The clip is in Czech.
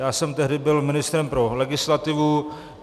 Já jsem tehdy byl ministrem pro legislativu.